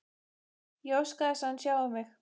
Ég óska þess að hann sjái mig.